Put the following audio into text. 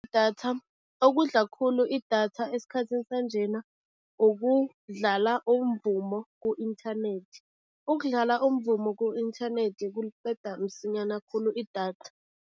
Okudla khulu idatha esikhathini sanjena, ukudlala umvumo ku-inthanethi. Ukudlala umvumo ku-inthanethi kuliqeda msinyana khulu idatha.